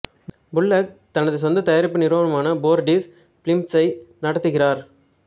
bullock தனது சொந்த தயாரிப்பு நிறுவனமான ஃபோர்டிஸ் ஃபில்ம்ஸை நடத்துகிறார்